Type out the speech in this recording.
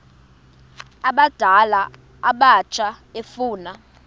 abadala abatsha efuna